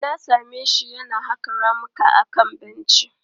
Na same shi yana haƙa ramuka akan benci.